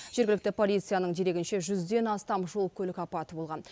жергілікті полицияның дерегінше жүзден астам жол көлік апаты болған